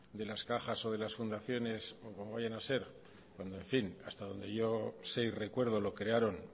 de las cajas o de las fundaciones o como viene a ser cuando en fin hasta donde yo sé y recuerdo lo crearon